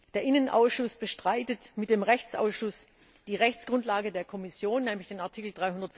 Der Innenausschuss bestreitet mit dem Rechtsausschuss die Rechtsgrundlage der Kommission, nämlich den Artikel